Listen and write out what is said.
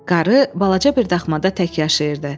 Qarı balaca bir daxmada tək yaşayırdı.